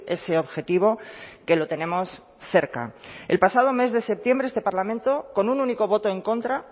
ese objetivo que lo tenemos cerca el pasado mes de septiembre este parlamento con un único voto en contra